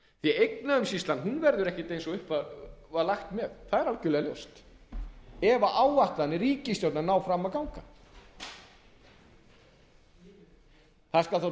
landsbankann eignaumsýslan verður ekki eins og upp var lagt með það er algerlega ljóst ef áætlanir ríkisstjórnarinnar ná fram að ganga það skal